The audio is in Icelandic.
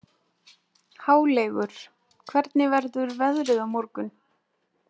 Háleygur, hvernig verður veðrið á morgun?